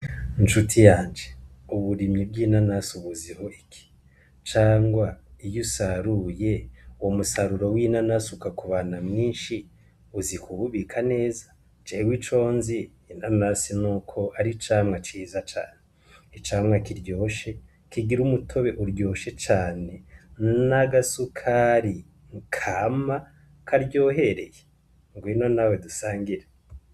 Ncuti yanje, uburimyi bw'inanasi ubuziho iki? Cangwa iyo usaruye, umusaruro w'inanasi ukakuba mwinshi, uzi kuwubika neza? Jewe iconzi, inanasi nuko ari icamwa ciza cane, icamwa kiryoshe, kigira umutobe uryoshe cane, n'āgasukāri kāma karyohereye, ngwino nawe dusangire.